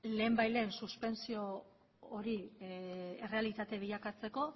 lehenbailehen suspentsio hori errealitate bilakatzeko